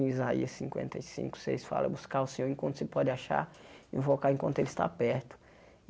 Em Isaías cinquenta e cinco, seis, fala buscar o Senhor enquanto se pode achar, invocar enquanto Ele está perto.